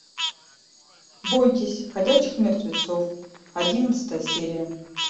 бойтесь ходячих мертвецов одиннадцатая серия